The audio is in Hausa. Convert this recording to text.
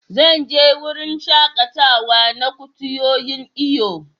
Zan je wurin shakatawa da kutuyoyin iyo.